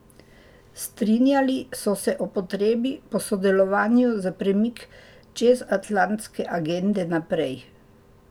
Strinjali so se o potrebi po sodelovanju za premik čezatlantske agende naprej.